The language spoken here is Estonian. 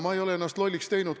Ma ei ole ennast lolliks teinud.